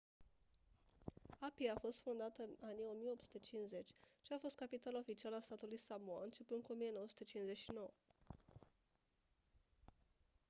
apia a fost fondată în anii 1850 și a fost capitala oficială a statului samoa începând cu 1959